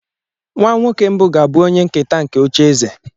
Nwa nwoke mbụ ga-abụ onye nketa nke ocheeze.